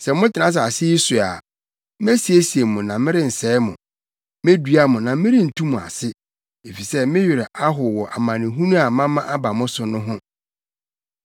‘Sɛ motena asase yi so a, mesiesie mo na merensɛe mo, medua mo na merentu mo ase, efisɛ me werɛ ahow wɔ amanehunu a mama aba mo so no ho.